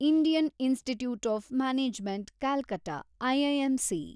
Indian institute of management Calcutta, IIMC